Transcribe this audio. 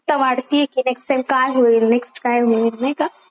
उत्सुकता वाढतेय की नेक्स्ट टाइम काय होईल नेक्स्ट काय होईल नाही का?